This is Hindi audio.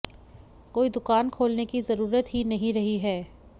कोई दुकान खोलने की ज़रूरत ही नहीं रही है